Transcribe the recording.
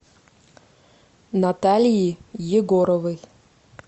наталии егоровой